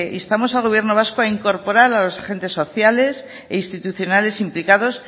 instamos al gobierno vasco a incorporar a los agentes sociales e institucionales implicados